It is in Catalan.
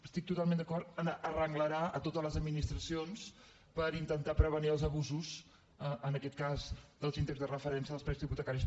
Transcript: estic totalment d’acord amb arrenglerar totes les administracions per intentar prevenir els abu·sos en aquest cas dels índexs de referència dels prés·tecs hipotecaris